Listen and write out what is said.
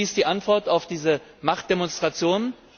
Wie lautet die Antwort auf diese Machtdemonstration?